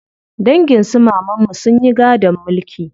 Dangin su mamanmu sun yi gadon mulki.